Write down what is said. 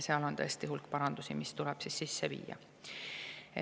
Seal on tõesti hulk parandusi, mis tuleb sisse viia.